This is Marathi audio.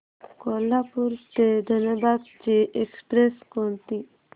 कोल्हापूर ते धनबाद ची एक्स्प्रेस कोणती